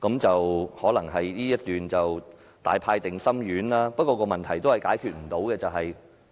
這一段也許是大派定心丸，不過問題仍然解決不了。